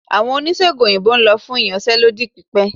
Awọn onisegùn oyinbo n lọ fun íyanse lodí pipẹ